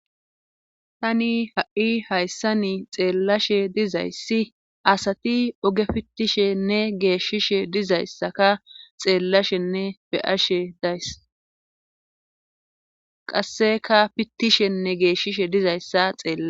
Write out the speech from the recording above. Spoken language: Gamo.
Tani ha7i hayssani xeellashe dizayssi asati oge pittishenne geeshishe dizayssaka xeellashenne beyashe dayss qasseka fittishenne geeshshishe dizayssa xeella.